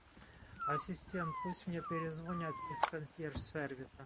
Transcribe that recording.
ассистент пусть мне перезвонят из консьерж сервиса